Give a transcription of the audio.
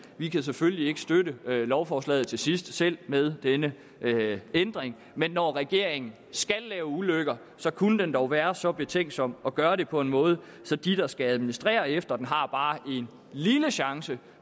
vi kan selvfølgelig ikke støtte lovforslaget til sidst selv med denne ændring men når regeringen skal lave ulykker kunne den dog være så betænksom at gøre det på en måde så de der skal administrere efter den har bare en lille chance